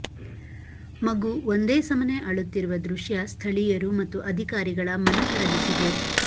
ಮಗು ಒಂದೇ ಸಮನೆ ಅಳುತ್ತಿರುವ ದೃಶ್ಯ ಸ್ಥಳೀಯರು ಮತ್ತು ಅಧಿಕಾರಿಗಳ ಮನಕರಗಿಸಿದೆ